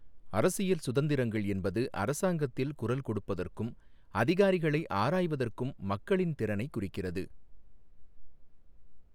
அரசியல் சுதந்திரங்கள் என்பது அரசாங்கத்தில் குரல் கொடுப்பதற்கும், அதிகாரிகளை ஆராய்வதற்கும் மக்களின் திறனைக் குறிக்கிறது.